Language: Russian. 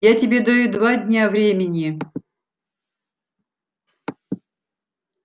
я тебе даю два дня времени